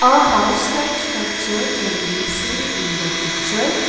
a house like structure can be seen in the picture.